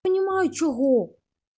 понимаю чего